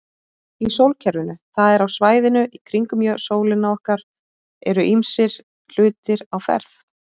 Í sólkerfinu, það er á svæðinu kringum sólina okkar, eru ýmsir hlutir á ferð.